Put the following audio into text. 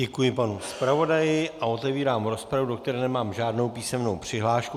Děkuji panu zpravodaji a otevírám rozpravu, do které nemám žádnou písemnou přihlášku.